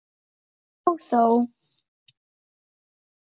Og þó